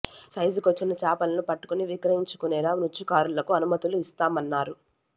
సైజుకు వచ్చిన చేపలను పట్టుకొని విక్రయించు కునేలా మత్స్యకారులకు అనుమతులు ఇస్తామన్నారు